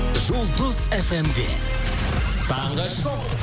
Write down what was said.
жұлдыз фм де таңғы шоу